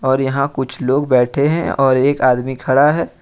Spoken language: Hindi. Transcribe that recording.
और यहां कुछ लोग बैठे हैं और एक आदमी खड़ा है।